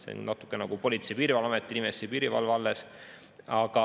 See on natuke nagu Politsei- ja Piirivalveamet, mille nimesse jäi piirivalve alles.